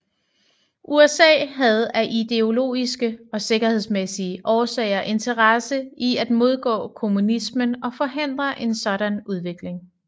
USA havde af ideologiske og sikkerhedsmæssige årsager interesse i at modgå kommunismen og forhindre en sådan udvikling